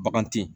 Bagan te yen